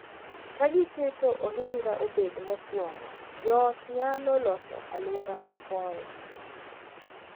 Ka giketo ohinga obed mokuongo, joot nyalo loso alwora ma konyo